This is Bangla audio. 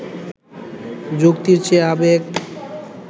যুক্তির চেয়ে আবেগ